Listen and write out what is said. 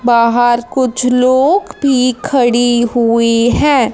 बाहर कुछ लोग भी खड़ी हुई है।